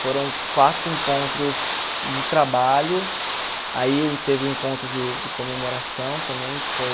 Foram quatro encontros de trabalho, aí o teve o encontro de comemoração também, que foi...